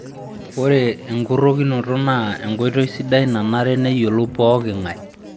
Ore enkurokinoto naa enkoitoi sidai nanare neyiolou poking'ae